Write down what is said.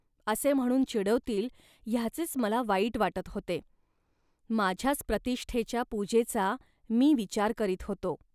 असे म्हणून चिडवतील, ह्याचेच मला वाईट वाटत होते. माझ्याच प्रतिष्ठेच्या पूजेचा मी विचार करीत होतो